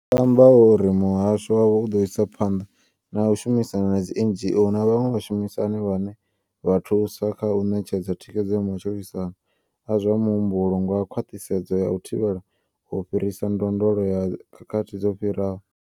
Vho amba uri muhasho wavho u ḓo isa phanḓa na u shumisana na dzi NGO na vhaṅwe vhashumisani vhane vha thusa kha u ṋetshedza thikhedzo ya matshilisano a zwa muhumbulo nga khwaṱhisedzo ya u thivhela u fhirisa ndondolo ya khakhathi dzo no fhiraho.